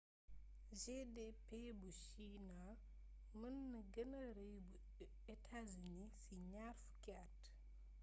gdp bu china mën na gënë rëy bu united states ci ñaar fukki at